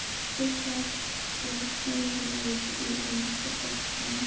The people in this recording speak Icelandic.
Vilt þú sjá stjörnuleik í enska boltanum?